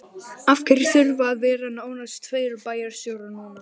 Af hverju þurfa að vera nánast tveir bæjarstjórar núna?